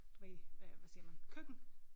Du ved øh hvad siger man køkken